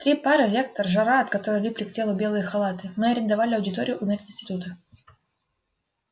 три пары лектор жара от которой липли к телу белые халаты мы арендовали аудиторию у мединститута